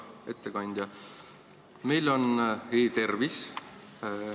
Hea ettekandja!